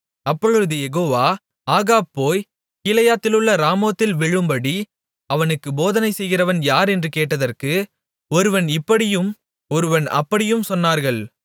அப்பொழுது Jehovah Ahab போய் கீலேயாத்திலுள்ள ராமோத்தில் விழும்படி அவனுக்குப் போதனை செய்கிறவன் யார் என்று கேட்டதற்கு ஒருவன் இப்படியும் ஒருவன் அப்படியும் சொன்னார்கள்